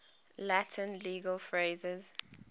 latin legal phrases